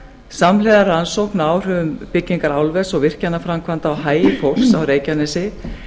samhliða rannsóknum á áhrifum byggingar álvers og virkjanaframkvæmda á hagi fólks á reykjanesi